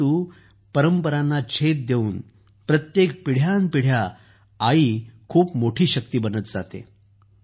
परंतु परंपरांना छेद देऊन प्रत्येक पिढ्यानुपिढ्या आई खूप मोठी शक्ती बनत जाते